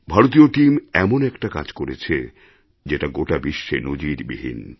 ভারতীয় টিম এমন একটা কাজ করেছে যেটা গোটা বিশ্বে নজিরবিহীন